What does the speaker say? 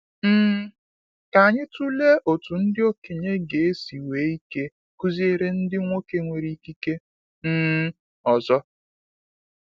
um Ka anyị tụlee otu ndị okenye ga esi nwee ike kụziere ndị nwoke nwere ikike um ọzọ.